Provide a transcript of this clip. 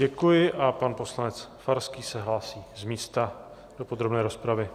Děkuji a pan poslanec Farský se hlásí z místa do podrobné rozpravy.